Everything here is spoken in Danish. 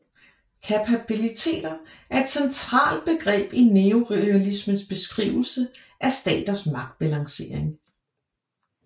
Kapabiliteter er et centralt begreb i neorealismens beskrivelse af staters magtbalancering